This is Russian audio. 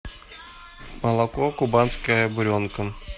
молоко кубанская буренка